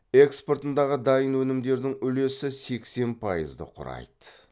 экспортындағы дайын өнімдердің үлесі сексен пайызды құрайды